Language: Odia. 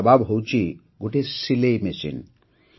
ତାର ଜବାବ ହେଉଛି ଗୋଟିଏ ସିଲେଇ ମେସିନ୍